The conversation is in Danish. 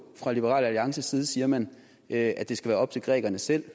fra liberal alliances side siger man at det skal være op til grækerne selv